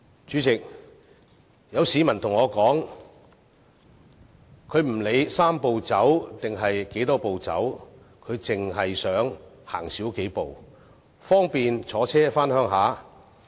主席，有市民對我說不管"三步走"還是有多少步要走，他只想少走數步，方便他乘車回鄉。